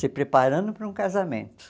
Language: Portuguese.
se preparando para um casamento.